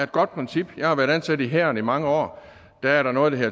godt princip jeg har været ansat i hæren i mange år der er der noget der